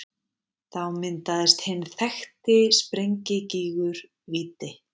Þá myndaðist hinn þekkti sprengigígur Víti.